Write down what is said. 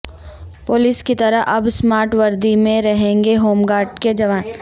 police کی طرح اب اسمارٹ وردی میں رہیں گے ہوم گارڈ کے جوان